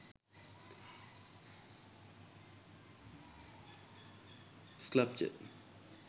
sculpture